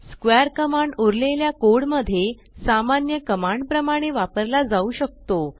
square command उरलेल्या code मध्ये सामान्य कमांड प्रमाणे वपारला जाऊ शकतो